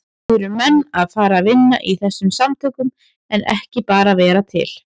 Eru menn að fara að vinna í þessum samtökum en ekki bara vera til?